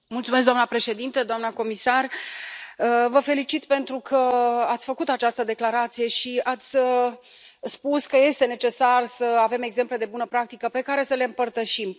Doamnă președintă, doamnă comisar, vă felicit pentru că ați făcut această declarație și ați spus că este necesar să avem exemple de bună practică pe care să le împărtășim.